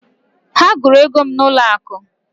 Ha gụrụ ego m n'ụlọ akụ.